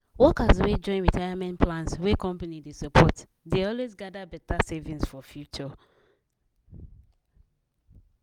workers wey join retirement plans wey company dey support dey always gather better savings for future.